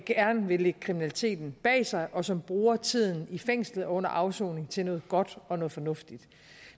vil lægge kriminaliteten bag sig og som bruger tiden i fængslet under afsoning til noget godt og noget fornuftigt